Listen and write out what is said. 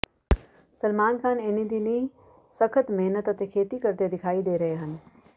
ਸਲਮਾਨ ਖਾਨ ਇਨ੍ਹੀਂ ਦਿਨੀਂ ਸਖਤ ਮਿਹਨਤ ਅਤੇ ਖੇਤੀ ਕਰਦੇ ਦਿਖਾਈ ਦੇ ਰਹੇ ਹਨ